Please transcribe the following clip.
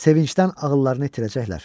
Sevincdən ağıllarını itirəcəklər.